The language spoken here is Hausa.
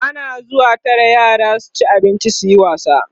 ana zuwa Tara yara su ci abinci suyi wasa